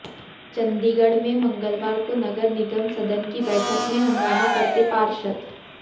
चंडीगढ़ में मंगलवार को नगर निगम सदन की बैठक में हंगामा करते पार्षद